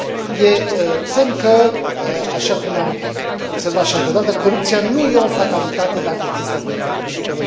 E semn că, așa cum am observat și altă dată, corupția nu e o fatalitate dacă există voință politică.